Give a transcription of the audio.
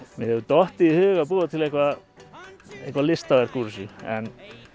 mér hefur dottið í hug að búa til eitthvað eitthvað listaverk úr þessu en